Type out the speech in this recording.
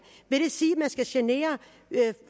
vil det sige at skal genere